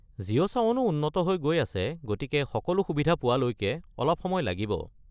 জিঅ’ ছাৱনও উন্নত হৈ গৈ আছে, গতিকে সকলো সুবিধা পোৱালৈকে অলপ সময় লাগিব।